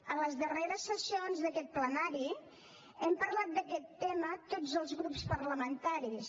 en les darreres sessions d’aquest plenari hem parlat d’aquest tema tots els grups parlamentaris